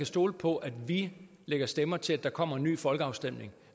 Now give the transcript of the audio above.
stole på at vi lægger stemmer til at der kommer en ny folkeafstemning